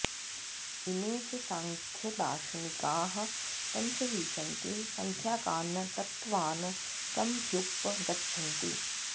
इमे च सांख्यदार्शनिकाः पञ्चविंशति संख्याकान् तत्त्वान् समभ्युप गच्छन्ति